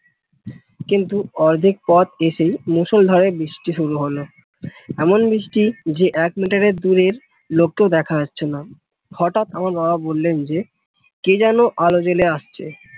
কিন্তু অর্ধেক পথ এসেই মুষলধারে বৃষ্টি শুরু হল এমন বৃষ্টি যে এক মিটারের দূরের লোককেও দেখা যাচ্ছে না হঠাৎ আমার বাবা বললেন যে কে যেন আলো জ্বেলে আসছে